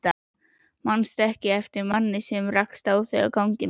Manstu ekki eftir manni sem rakst á þig á ganginum?